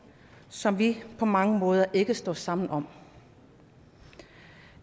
som vi på mange måder ikke står sammen om